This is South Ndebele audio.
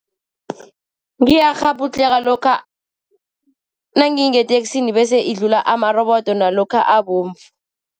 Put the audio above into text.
Ngiyakghabhudlheka lokha nangingeteksini, bese idlula amarobodo nalokha abovu.